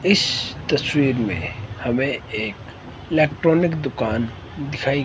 इस तस्वीर में हमें एक इलेक्ट्रॉनिक दुकान दिखाई--